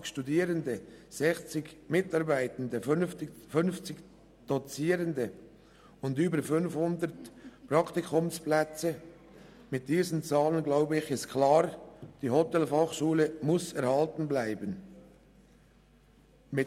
280 Studierende, 60 Mitarbeitende, 50 Dozierende und über 500 Praktikumsplätze – diese Zahlen zeigen klar, dass die Hotelfachschule erhalten bleiben muss.